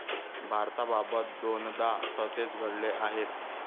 भारताबाबत दोनदा तसे घडले आहे.